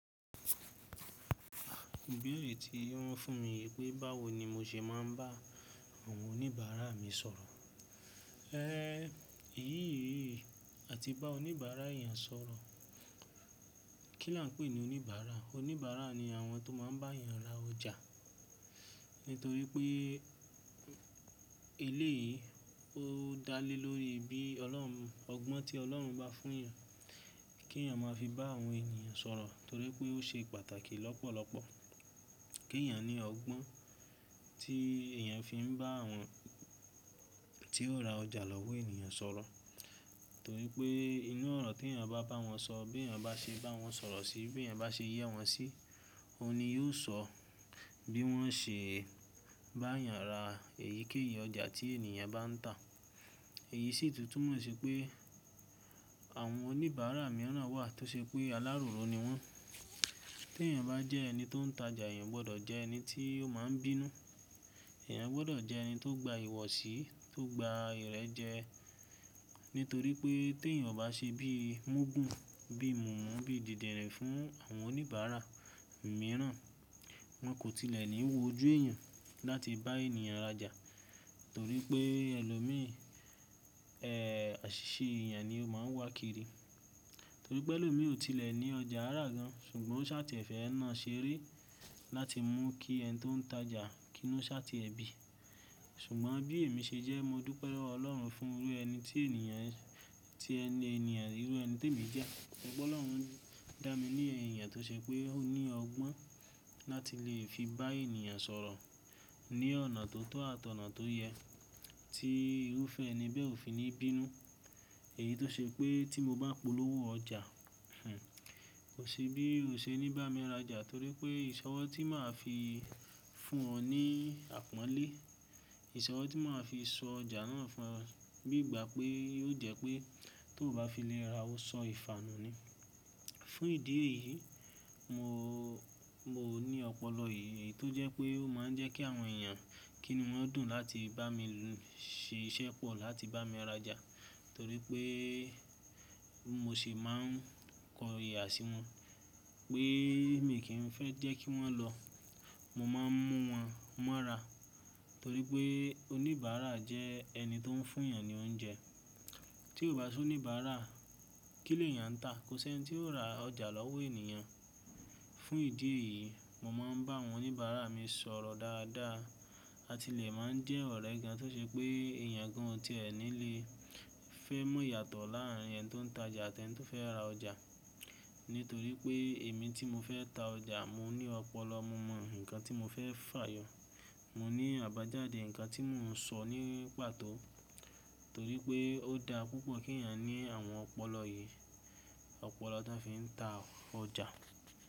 Ibeere tí wọ́n fún mi wípé báwo ni mo ṣe máa ń bá àwọn oníbàárà mi sọ̀rọ̀. Ẹ́, èyí yìí àti bá oníbàárà èèyàn sọ̀rọ̀, kí là ń pè é ní oníbàárà? Oníbàárà ni àwọn tó máa ń bá èèyàn ra ọjà. Nítorí pé éleyìí ó dá lé lórí bí Ọlọ́run, ọgbọ́n tí Ọlọ́run bá fún èèyàn kí èèyàn máa fi bá àwọn ènìyàn sọ̀rọ̀ torí pé ó ṣe pàtàkì lọ́pọ̀lọ́pọ̀ kí èèyàn ní ọgbọ́n tí èèyàn fi ń bá àwọn tí ó ra ọjà lọ́wọ́ èèyàn sọ̀rọ̀. Torí pé inú ọ̀rọ̀ tí èèyàn bá bá wọn sọ, bí èèyàn bá ṣe bá wọn sọ̀rọ̀ sí, bí èèyàn bá ṣe yẹ́ wọn sí, ó ni yóò ṣọ bí wọ́n ṣe bá èèyàn ra èyíkéyìí ọjà tí èèyàn bá ń tà. Èyí sì tútù mọ sí pé àwọn oníbàárà mìíràn wà tó ṣe pé aláròró ni wọ́n. Bí èèyàn bá jẹ́ ẹni tó ń tajà, èèyàn gbọdọ̀ jẹ ẹni tí ó máa ń bínú, èèyàn gbọdọ̀ jẹ ẹni tó gba ìwọsí, tó gba ìrẹ́jẹ nítorí pé tí èèyàn bá ṣe bí múgùn, bí mumú, bí dìdirin fún àwọn oníbàárà mìíràn, wọn kò tilẹ̀ ní wo ojú èèyàn láti bá èèyàn rajà torí pé ẹlòmíì, ẹ́, àṣìṣe èèyàn ni ó máa ń wá kiri. Torí pé ẹlòmíì ò tilẹ̀ ní ọjà rá gan an ṣùgbọ́n ó ṣáàtì ẹ̀fẹ̀ náà ṣeré láti mú kí ẹni tó ń tajà kí inú ṣáàtì ẹ bí. Ṣùgbọ́n bí èmi ṣe jẹ, mo dúpẹ́ lọ́wọ Ọlọ́run fún irú ẹni tí ènìyàn, tí ẹni ènìyàn, irú ẹni tí èmi jẹ́ pé Ọlọ́run dá mi ní ẹ̀yìn ènìyàn tó ṣe pé ó ní ọgbọ́n láti lè fi bá èèyàn sọ̀rọ̀ ní ọ̀nà tó tọ́ àtọ̀nà tó yẹ tí irúfẹ́ ẹni bẹ́ẹ̀ ò fi ní bínú. Èyí tó ṣe pé tí mo bá polówó ọjà, kò ṣe bí ó ṣe ní bá mi rajà torí pé ìṣọwọ́ tí màá fi fún ọ ní àpọ́nlé. Ìṣọwọ́ tí màá fi sọ ọjà náà fún ọ bí ìgbà pé ó jẹ́ pé tó bá fi lẹ́ra, ó sọ ìfanù ni. Fún ìdí èyí, mo, mo ní ọpọlọ yìí tó jẹ́ pé ó máa ń jẹ́ kí àwọn èèyàn kí ni wọ́n dùn láti bá mi ṣe iṣẹ́ pọ̀ láti bá mi rajà torí pé mo sì máa ń kọ ìyà sí wọn pé mi kì í fẹ́ jẹ́ kí wọ́n lọ. Mo máa ń mú wọn, m'ora torí pé oníbàárà jẹ́ ẹni tó ń fún èèyàn ní oúnjẹ. Tí kò bá sí oníbàárà, kí ló èèyàn ń tà? Kò ṣe ẹni tí ó ra ọjà lọ́wọ́ èèyàn. Fún ìdí èyí, mo máa ń bá àwọn oníbàárà mi sọ̀rọ̀ dáadáa àti lè máa ń jẹ́ ọ̀rẹ́ gan an tó ṣe pé èèyàn gan an tí ẹ ní lè fẹ́ mọ̀yàtọ̀ láàárín ẹni tó ń tajà àti ẹni tó fẹ́ ra ọjà. Nítorí pé èmi tí mo fẹ́ ta ọjà, mo ní ọpọlọ, mo mọ nǹkan tí mo fẹ́ fà yọ, mo ní àbájáde nǹkan tí mò ń sọ ní pàtó torí pé ó dá púpọ̀ kí èèyàn ní àwọn ọpọlọ yìí, ọpọlọ tó fi ń ta ọjà.